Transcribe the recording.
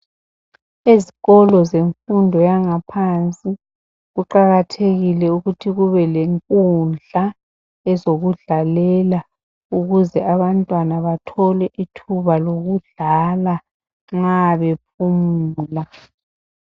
Ezikolo zemfundo yangaphansi kuqakathekile ukuthi kube lenkundla ezokudlalela ukuze abantwana bathole ithuba lokudlala nxa bephumula.